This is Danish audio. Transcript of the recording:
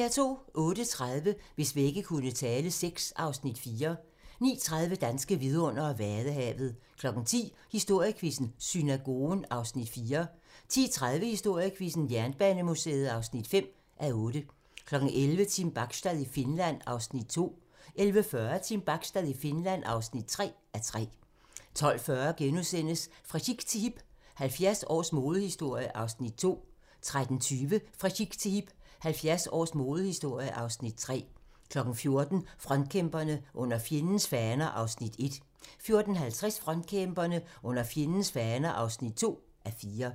08:30: Hvis vægge kunne tale VI (Afs. 4) 09:30: Danske vidundere: Vadehavet 10:00: Historiequizzen: Synagogen (4:8) 10:30: Historiequizzen: Jernbanemuseet (5:8) 11:00: Team Bachstad i Finland (2:3) 11:40: Team Bachstad i Finland (3:3) 12:40: Fra chic til hip - 70 års modehistorie (Afs. 2)* 13:20: Fra chic til hip - 70 års modehistorie (Afs. 3) 14:00: Frontkæmperne: Under fjendens faner (1:4) 14:50: Frontkæmperne: Under fjendens faner (2:4)